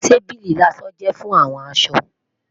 Tábìlì ìlọṣọ jẹ fun awọn aṣọ